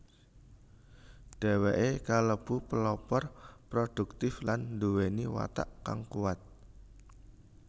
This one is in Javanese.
Dheweke kalebu pelopor produktif lan nduweni watak kang kuwat